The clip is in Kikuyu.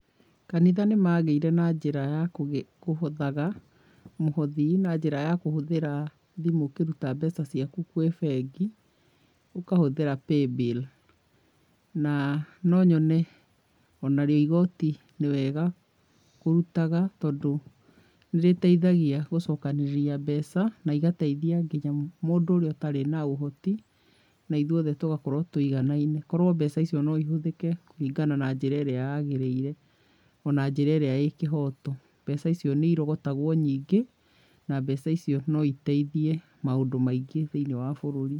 Kanitha nĩ magĩire na njĩra ya kũhothaga mũhothi na njĩra ya kũhũthĩra thimũ ũkĩruta mbeca ciaku kwĩ bengi, ũkahũthĩra paybill, na no nyone ona rĩo igoti nĩ wega kũrutaga tondũ nĩ rĩteithagia gũcokanĩrĩria mbeca na igateithia nginya mũndũ ũrĩa ũtarĩ na ũhoti, na ithuothe tũgakorwo tũiganaine, korwo mbeca icio no ihũthĩke kũringana na njĩra ĩrĩa yagĩrĩire, ona njĩra ĩrĩa ĩ kĩhoto, mbeca icio nĩ irogotagwo nyingĩ na mbeca icio no iteithie maũndũ maingĩ thĩinĩ wa bũrũri.